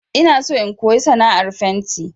Ina so in koyi sana'ar fenti